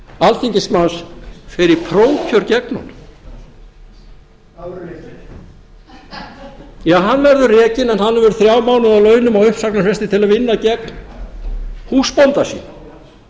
alþingismanns fer í prófkjör gegn honum hann verður rekinn hann verður rekinn en hann verður þrjá mánuði á launum á uppsagnarfresti til að vinna gegn húsbónda sínum